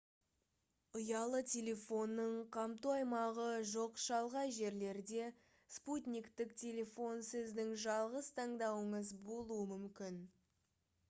ұялы телефонның қамту аймағы жоқ шалғай жерлерде спутниктік телефон сіздің жалғыз таңдауыңыз болуы мүмкін